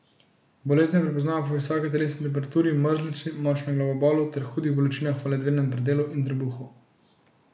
Bolezen prepoznamo po visoki telesni temperaturi, mrzlici, močnem glavobolu ter hudih bolečinah v ledvenem predelu in trebuhu.